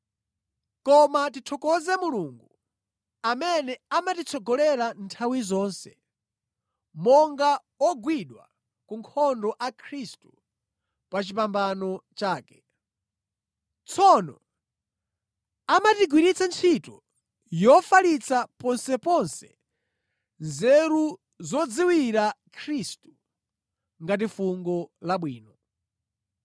Koma tithokoze Mulungu amene amatitsogolera nthawi zonse monga ogwidwa ku nkhondo a Khristu pa chipambano chake. Tsono amatigwiritsa ntchito yofalitsa ponseponse nzeru zodziwira Khristu ngati fungo labwino.